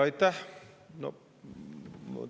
Aitäh!